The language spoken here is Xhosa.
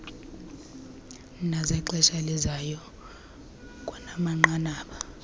nezexesha elizayo kwanamanqanaba